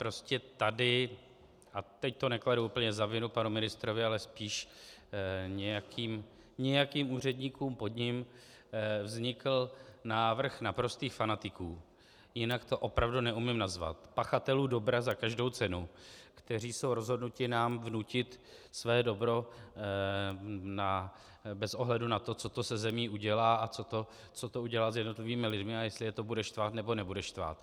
Prostě tady, a teď to nekladu úplně za vinu panu ministrovi, ale spíš nějakým úředníkům pod ním, vznikl návrh naprostých fanatiků, jinak to opravdu neumím nazvat, pachatelů dobra za každou cenu, kteří jsou rozhodnuti nám vnutit své dobro bez ohledu na to, co to se zemí udělá a co to udělá s jednotlivými lidmi a jestli je to bude štvát nebo nebude štvát.